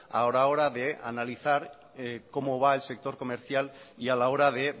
a la hora de analizar cómo va el sector comercial y a la hora de